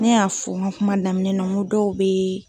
Ne y'a fɔ n ka kuma daminɛ na n ko dɔw be yen.